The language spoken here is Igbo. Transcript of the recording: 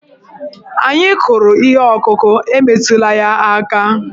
Anyị kụrụ ihe ọkụkụ, e metụla ya aka!